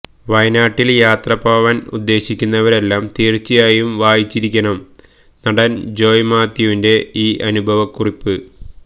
വയനാട്ടില് യാത്രപോവാന് ഉദ്ദേശിക്കുന്നവരെല്ലാം തീര്ച്ചയായും വായിച്ചിരിക്കണം നടന് ജോയ് മാത്യുവിന്റെ ഈ അനുഭവകുറിപ്പ്